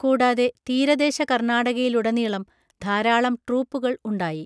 കൂടാതെ, തീരദേശ കർണാടകയിലുടനീളം ധാരാളം ട്രൂപ്പുകൾ ഉണ്ടായി.